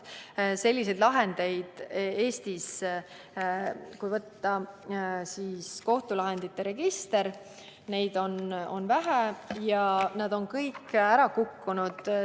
Selliseid lahendeid, kui võtta ette kohtulahendite register, on Eestis vähe ja nad on kõik n-ö ära kukkunud.